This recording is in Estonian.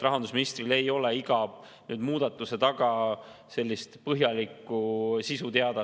Rahandusminister ei tea iga muudatuse põhjalikku sisu.